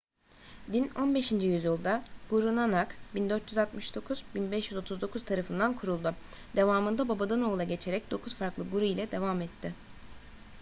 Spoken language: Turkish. din 15. yüzyılda guru nanak 1469–1539 tarafından kuruldu. devamında babadan oğula geçerek dokuz farklı guru ile devam etti